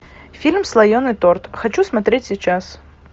фильм слоеный торт хочу смотреть сейчас